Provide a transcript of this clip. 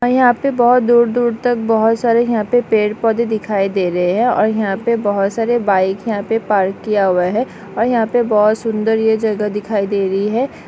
यहा पे बहुत दूर दूर तक बहुत सारे यहा पे पेड़ पौधे दिखाई दे रहे है और यहा पे बहुत सारे बाइक यहा पे पार्क किया हुआ है और यहा पे बहुत सुंदर ये जगह दिखाई दे रही है।